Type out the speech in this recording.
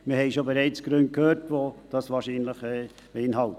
Wir haben bereits Gründe gehört, die das wahrscheinlich beinhalten.